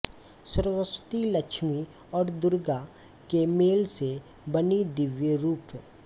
सरस्वती लक्ष्मी और दुर्गा के मेल से बनी दिव्य रूप